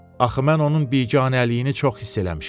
Axı mən onun biganəliyini çox hiss eləmişəm.